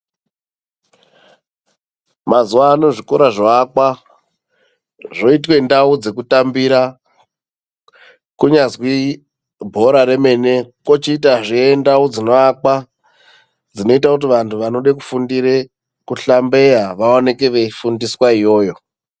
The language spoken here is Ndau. Mazuva ano zvikora zvoakwa, zvoitwe ndau dzekutambira, kunyazwi bhora remene. Kochiitazve ndau dzinoakwa, dzinoite kuti vantu vanode kufundire kuhlambeya vaoneke veifundiswa iyoyo.